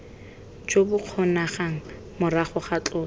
jo bokgonegang morago ga tloso